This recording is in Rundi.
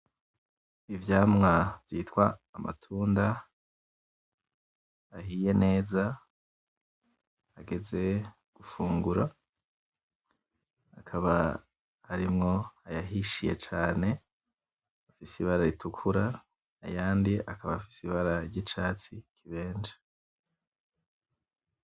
Ivyamwa vyitwa Amatunda, ahiye neza ageze gufungura akaba arimwo ayahishiye cane afise Ibara ritukura, ayandi akaba afise Ibara ry'Icatsi kibenje.